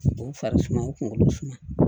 U fari suma o kunkolo suma